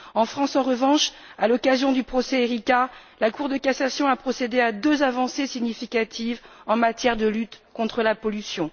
En France, en revanche, à l'occasion du procès Erika, la Cour de cassation a procédé à deux avancées significatives en matière de lutte contre la pollution.